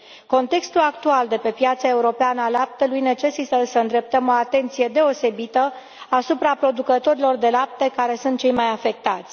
Contextul actual de pe piața europeană a laptelui necesită să îndreptăm o atenție deosebită asupra producătorilor de lapte, care sunt cei mai afectați.